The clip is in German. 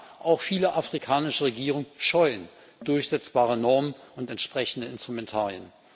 Und ja Auch viele afrikanische Regierungen scheuen durchsetzbare Normen und entsprechende Instrumentarien.